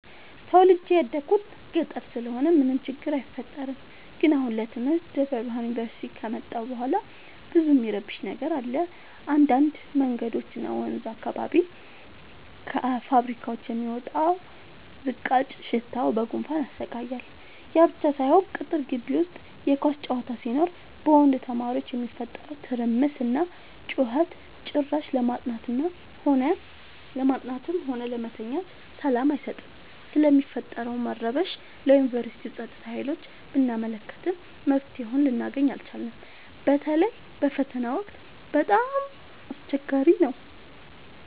ተወልጄ የደኩት ገጠር ስለሆነ ምንም ችግር አይፈጠርም። ግን አሁን ለትምህርት ደብረብርሃን ዮንቨርሲቲ ከመጣሁ በኋላ ብዙ እሚረብሽ ነገር አለ እንዳድ መንገዶች እና ወንዝ አካባቢ ከፋብካዎች የሚወጣው ዝቃጭ ሽታው በጉንፋን ያሰቃያል። ያብቻ ሳይሆን ቅጥር ጊቢ ውስጥ የኳስ ጨዋታ ሲኖር በወንድ ተማሪዎች የሚፈጠረው ትርምስና ጩኸት ጭራሽ ለማጥናትም ሆነ ለመተኛት ሰላም አይሰጥም። ስለሚፈጠረው መረበሽ ለዮንቨርስቲው ፀጥታ ሀይሎች ብናመለክትም መፍትሔ ልናገኝ አልቻልም። በተለይ በፈተና ወቅት በጣም አስቸገሪ ነው።